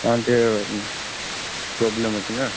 ତାଙ୍କର ଟିକେ problem ଅଛି ନାଁ?